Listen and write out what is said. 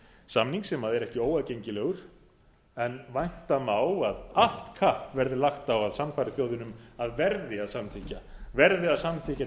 samning sem er ekki óaðgengilegur en vænta má að allt kapp verði lagt á að sannfæra þjóðina um að verði að samþykkja til þess að